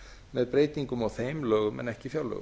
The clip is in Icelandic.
með breytingum á þeim lögum en ekki fjárlögum